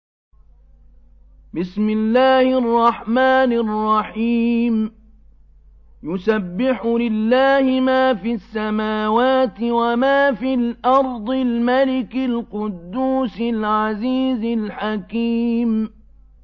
يُسَبِّحُ لِلَّهِ مَا فِي السَّمَاوَاتِ وَمَا فِي الْأَرْضِ الْمَلِكِ الْقُدُّوسِ الْعَزِيزِ الْحَكِيمِ